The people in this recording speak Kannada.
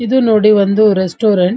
ಇದು ನೋಡಿ ಒಂದು ರೆಸ್ಟುರೆಂಟ್ .